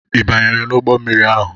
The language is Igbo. Ị banyere n'ụgbọ mmiri ahụ?